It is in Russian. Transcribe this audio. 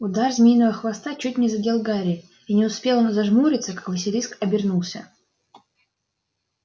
удар змеиного хвоста чуть не задел гарри и не успел он зажмуриться как василиск обернулся